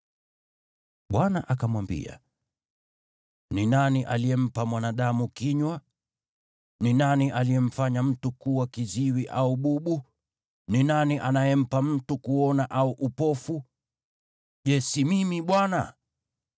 Bwana akamwambia, “Ni nani aliyempa mwanadamu kinywa? Ni nani aliyemfanya mtu kuwa kiziwi au bubu? Ni nani anayempa mtu kuona au upofu? Je, si mimi, Bwana ?